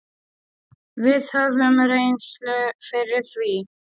Við höfum reynslu fyrir því.